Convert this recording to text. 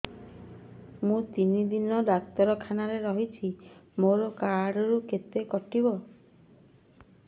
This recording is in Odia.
ମୁଁ ତିନି ଦିନ ଡାକ୍ତର ଖାନାରେ ରହିଛି ମୋର କାର୍ଡ ରୁ କେତେ କଟିବ